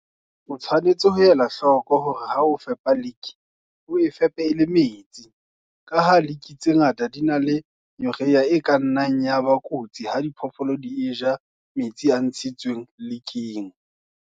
O tshwanetse ho ela hloko hore ha o fepa lick o e fepe e le metsi, ka ha lick tse ngata di na le urea e ka nnang ya ba kotsi ha diphoofolo di e ja metsi a ntshitsweng licking.